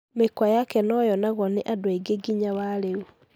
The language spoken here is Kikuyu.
Mĩkwa yake nũcĩonagwo nĩ andũ aĩngĩ ginya wa reu